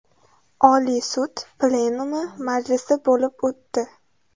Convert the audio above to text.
Oliy sud plenumi majlisi bo‘lib o‘tdi.